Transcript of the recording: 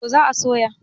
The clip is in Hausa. to za a soya